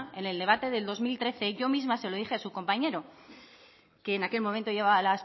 en el debate del dos mil trece yo misma se lo dije a su compañero que en aquel momento llevaba